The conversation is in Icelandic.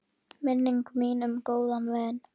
Minning mín um góðan vin.